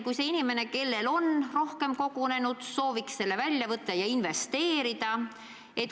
Vahest see inimene, kellel on rohkem raha kogunenud, sooviks selle kohe välja võtta ja investeerida.